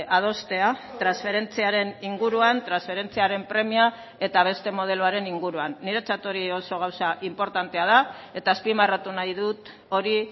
adostea transferentziaren inguruan transferentziaren premia eta beste modeloaren inguruan niretzat hori oso gauza inportantea da eta azpimarratu nahi dut hori